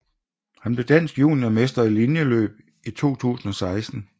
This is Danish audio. Han blev dansk juniormester i linjeløb i 2016